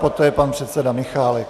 Poté pan předseda Michálek.